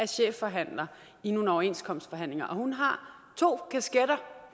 chefforhandler i nogle overenskomstforhandlinger og hun har to kasketter